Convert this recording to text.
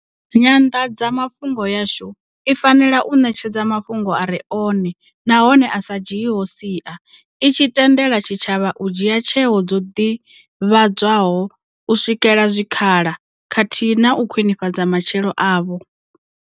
Nyanḓadzamafhungo yashu i fanela u ṋetshedza mafhungo a re one nahone a sa dzhiiho sia, i tshi tende la tshitshavha u dzhia tsheo dzo ḓivhadzwaho, u swikela zwikhala khathihi na u khwiṋifhadza matshilo avho.